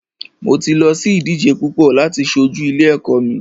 Mo ti lọ sí ìdíje púpọ láti ṣojú ilé ẹ̀kọ́ mi.